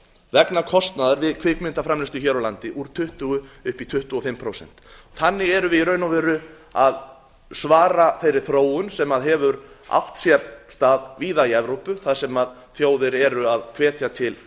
vegna kostnaðar vegna kvikmyndaframleiðslu hér á landi úr tuttugu upp í tuttugu og fimm prósent þannig erum við í raun og veru að svara þeirri þróun sem hefur átt sér stað víða í evrópu þar sem þjóðir eru að hvetja til